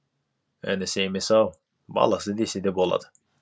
інісі емес ау баласы десе де болады